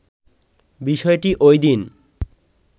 বিষয়টি ওইদিন